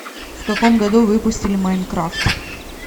в каком году выпустили майнкрафт